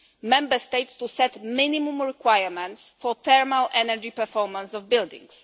Member States to set minimum requirements for the thermal energy performance of buildings.